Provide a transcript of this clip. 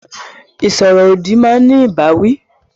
Ìsọ̀rọ̀-òdì máa ní ìbáwí.